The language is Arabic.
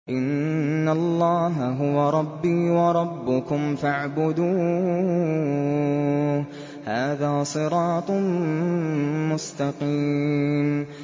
إِنَّ اللَّهَ هُوَ رَبِّي وَرَبُّكُمْ فَاعْبُدُوهُ ۚ هَٰذَا صِرَاطٌ مُّسْتَقِيمٌ